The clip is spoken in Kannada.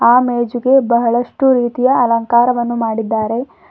ಆ ಮೇಜಿಗೆ ಬಹಳಷ್ಟು ರೀತಿಯ ಅಲಂಕಾರವನ್ನು ಮಾಡಿದ್ದಾರೆ.